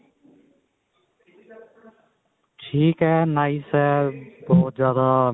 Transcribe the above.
ਠੀਕ ਏ nice ਏ ਬਹੁਤ ਜਿਆਦਾ